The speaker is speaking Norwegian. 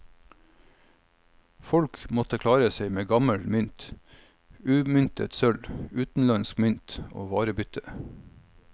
Folk måtte klare seg med gammel mynt, umyntet sølv, utenlandsk mynt og varebytte.